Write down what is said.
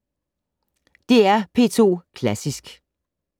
DR P2 Klassisk